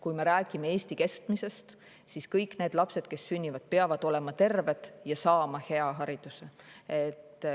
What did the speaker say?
Kui me räägime Eesti keskmisest, siis kõik need lapsed, kes sünnivad, peavad olema terved ja saama hea hariduse.